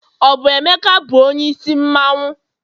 ọ bu emeka bu onye isi mmanwu?